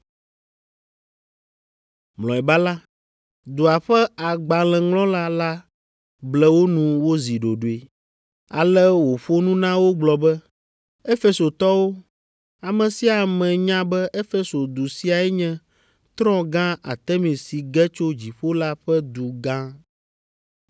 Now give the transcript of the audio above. Mlɔeba la, dua ƒe agbalẽŋlɔla la ble wo nu wozi ɖoɖoe, ale wòƒo nu na wo gblɔ be, “Efesotɔwo, ame sia ame nya be Efeso du siae nye trɔ̃ gã Artemis si ge tso dziƒo la ƒe du gã.